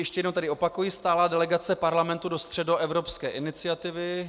Ještě jednou tedy opakuji - stálá delegace Parlamentu do Středoevropské iniciativy.